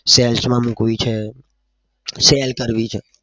sales માં મુકવી છે share કરવી છે.